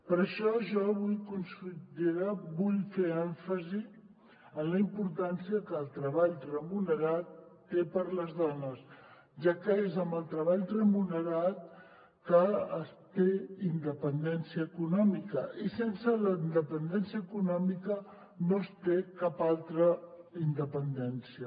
per això jo avui consellera vull fer èmfasi en la importància que el treball remunerat té per a les dones ja que és amb el treball remunerat que es té independència econòmica i sense la independència econòmica no es té cap altra independència